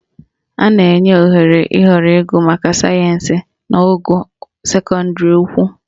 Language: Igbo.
A na-enye ohere ịhọrọ ịgụ maka sayensị n'ogo sekọndịrị ukwu